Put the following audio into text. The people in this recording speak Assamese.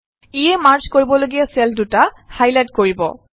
ইয়ে মাৰ্জ কৰিবলগীয়া চেল দুটা হাইলাইট কৰিব